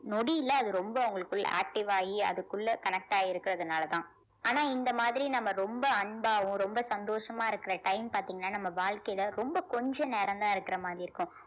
நொடியில அது ரொம்ப அவங்களுக்குள்ள active ஆயி அதுக்குள்ள connect ஆயி இருக்கிறதுனாலதான் ஆனா இந்த மாதிரி நம்ம ரொம்ப அன்பாவும் ரொம்ப சந்தோஷமா இருக்கிற time பார்த்தீங்கன்னா நம்ம வாழ்க்கையில ரொம்ப கொஞ்சம் நேரம்தான் இருக்கிற மாதிரி இருக்கும்